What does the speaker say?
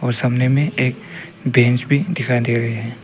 सामने में एक बेंच भी दिखाई दे रहे हैं।